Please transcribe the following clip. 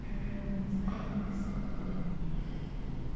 шаруаңызды айтыңыз деймін мен